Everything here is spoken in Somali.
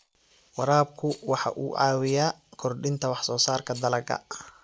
Waraabku waxa uu caawiyaa kordhinta wax soo saarka dalagga.